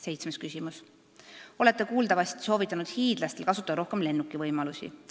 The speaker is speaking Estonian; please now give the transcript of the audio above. Seitsmes küsimus: "Olete kuuldavasti soovitanud hiidlastel kasutada rohkem lennuki võimalusi.